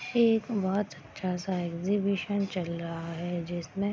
एक बहुत अच्छा सा एग्जीबिशन चल रहा है जिसमें --